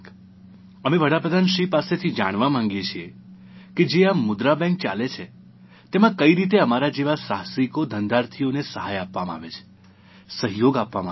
અમે વડાપ્રધાનશ્રી પાસેથી જાણવા માગીએ છીએ કે આ જે મુદ્રા બેંક ચાલે છે તેમાં કઇ રીતે અમારા જેવા સાહસિકોધંધાર્થીઓને સહાય આપવામાં આવે છે સહયોગ આપવામાં આવે છે